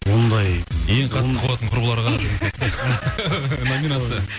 ондай ең қатты қуатын құрбыларға номинация